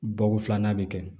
Bako filanan bɛ kɛ